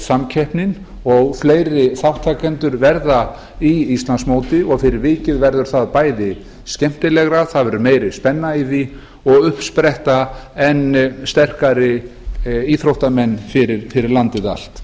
samkeppnin eykst og fleiri þátttakendur verða í íslandsmóti fyrir vikið verður það bæði skemmtilegra meiri spenna í því og upp spretta enn sterkari íþróttamenn fyrir landið allt